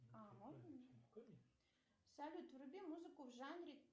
салют вруби музыку в жанре